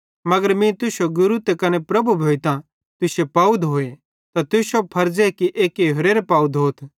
अगर मीं तुश्शो गुरू त कने प्रभु भोइतां तुश्शे पाव धोए त तुश्शो भी फर्ज़े कि एक्की होरेरे पाव धोथ